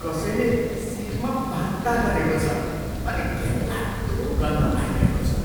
कसैले सिटमा बान्ता गरेको छ अनि घिनलाग्दो गन्ध आइरहेको छ।